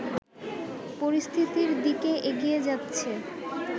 পরিস্থিতির দিকে এগিয়ে যাচ্ছে